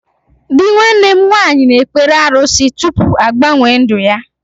Dị nwanne m nwaanyị na ekpere arụsị tụpụ agbanwe ndụ ya